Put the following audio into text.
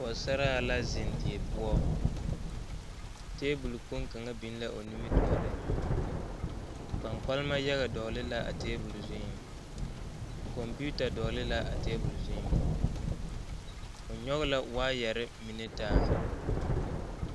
pogesara la zeŋ die poɔ tabol kpoŋe kaŋa be la o nimi tooriŋ kpankparama yaga dɔgelee la a tabol zuiŋ kompiita dɔgelee la tabol zuiŋ o nyɔŋe la waayare mine taa.